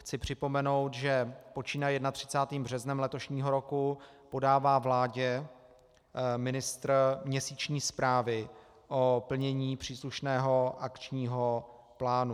Chci připomenout, že počínaje 31. březnem letošního roku podává vládě ministr měsíční zprávy o plnění příslušného akčního plánu.